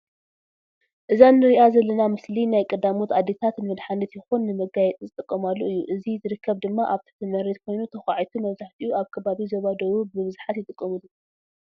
እዛ እንሪኣ ዘለና ምስሊ ናይ ቀዳሞት ኣዴታት ንመድሓኒት ይኹን ንመጋየፂ ዝጥቀማለ እዩ እዚ ዝርከብ ድማ ኣብ ትሕቲ መሬት ኮይኑ ተኺዒቱ መብዛሕይኡ ኣብ ከባቢ ዞባ ደኑብ ብስግሓት ይጥቀምሉ ።